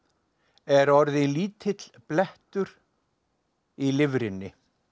er orðið lítill blettur í lifrinni